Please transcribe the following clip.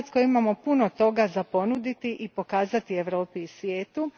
U Hrvatskoj imamo puno toga za ponuditi i pokazati Europi i svijetu.